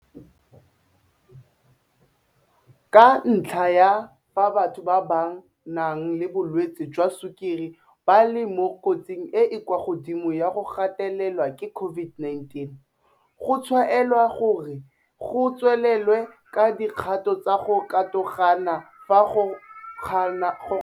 Ka ntlha ya fa batho ba ba nang le bolwetse jwa sukiri ba le mo kotsing e e kwa godimo ya go gatelelwa ke COVID-19, go tshwaelwa gore go tswelelwe ka dikgato tsa go katogana fa go kgonagalang.